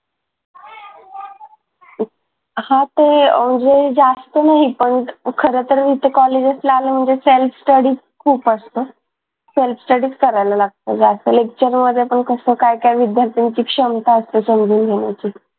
हा ते अह म्हणजे जास्त नाही पण खरं तर इथं कॉलेज ला असल्यामुळे self study खूप असतो. self study च करायला लागतो जास्त lecture मध्ये पण कसं काय काय विद्यार्थ्यांची क्षमता असते तेवढी घेण्याची